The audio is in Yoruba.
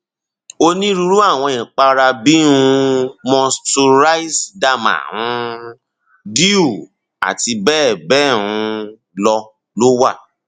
oniruru awọn ipara bii um moisturize derma um dew àti bẹẹbẹẹ um lọ ló wa